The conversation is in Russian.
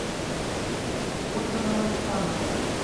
ольга новокшанова